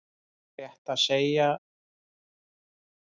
Rétt að sjá hvort það er ákveðinn bíll fyrir utan húsið niðri við sjóinn.